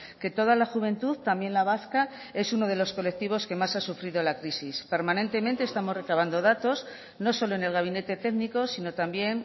que toda la juventud también la vasca es uno de los colectivos que más ha sufrido la crisis permanentemente estamos recabando datos no solo en el gabinete técnico sino también